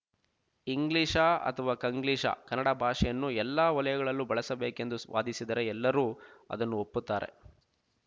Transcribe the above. ಇಂಗ್ಲೀಷಾ ಅಥವಾ ಕಂಗ್ಲೀಷಾ ಕನ್ನಡ ಭಾಷೆಯನ್ನು ಎಲ್ಲ ವಲಯಗಳಲ್ಲೂ ಬಳಸಬೇಕೆಂದು ಸ್ವಾದಿಸಿದರೆ ಎಲ್ಲರೂ ಅದನ್ನು ಒಪ್ಪುತ್ತಾರೆ